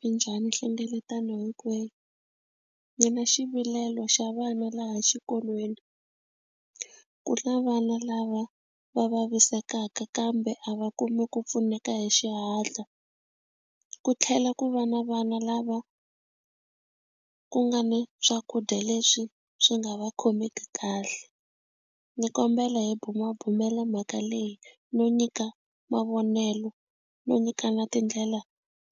Minjhani nhlengeletano hinkwenu ni na xivilelo xa vana laha xikolweni ku na vana lava va vavisekaka kambe a va kumi ku pfuneka hi xihatla ku tlhela ku va na vana lava ku nga ni swakudya leswi swi nga va khomeki kahle ni kombela hi bumabumela mhaka leyi no nyika mavonelo no nyikana tindlela